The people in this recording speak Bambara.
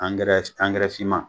finman